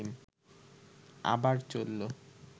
আবার চলল